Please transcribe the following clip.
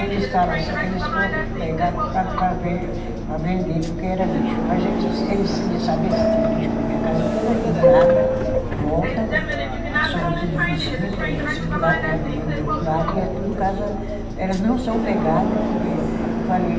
Eles fala assim que eles foram pegar para para ven, para vender porque era lixo, mas eles eles ia saber se tinha lixo porque minha casa é toda murada em volta, somos tudo vizinhos, tem o vizinho do lado, tem a minha irmã do outro lado e é tudo casa, elas não são pegada porque eu falei...